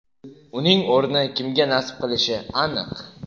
Uning o‘rni kimga nasib qilishi aniq.